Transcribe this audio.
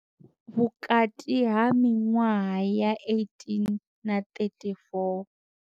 Vhukati ha miṅwaha ya 18 na 34.